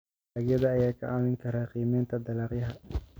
dalagyada ayaa kaa caawin kara qiimeynta Dhaqaalaha.